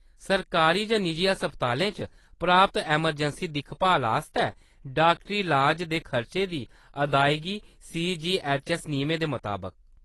सरकारी जां निजी अस्पतालें च प्राप्त अमरजैंसी दिक्खभाल आस्तै डाक्टरी लाज दे खर्चे दी अदायगी सीजीऐच्चऐस्स नियमें दे मताबक।